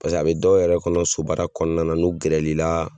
Pase a bɛ dɔw yɛrɛ kɔnɔ sobaara kɔnɔna na n'u gɛrɛli la